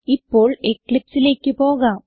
ഇപ്പോൾ eclipseലേക്ക് പോകാം